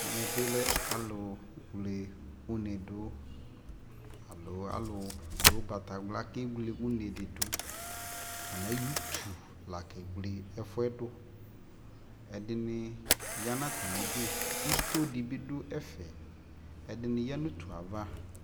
ɛmɛ bi lɛ alʋ wlɛ ʋnɛdʋ alɔ alʋdʋ ɔgbatawla kɛwlɛ ʋnɛ didʋ, atani ayɔ ʋtʋ la kɛwlɛ ɛƒʋɛ dʋ, ɛdini yanʋ atami idʋ ,itɔɔ dibi dʋ ɛƒɛ, ɛdini yanʋ ʋtʋɛ aɣa